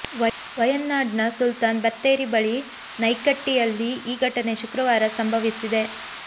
ವಯನಾಡ್ನ ಸುಲ್ತಾನ್ ಬತ್ತೇರಿ ಬಳಿ ನಯ್ಕಟ್ಟಿಯಲ್ಲಿ ಈ ಘಟನೆ ಶುಕ್ರವಾರ ಸಂಭವಿಸಿದೆ